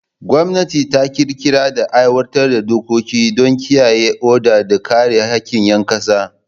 Gwamnati ta ƙirƙira da aiwatar da dokoki don kiyaye oda da kare haƙƙin ƴan ƙasa.